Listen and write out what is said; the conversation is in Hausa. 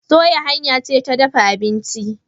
soya hanya ce ta dafa abinci